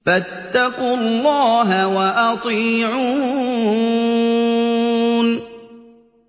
فَاتَّقُوا اللَّهَ وَأَطِيعُونِ